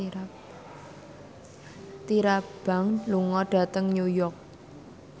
Tyra Banks lunga dhateng New York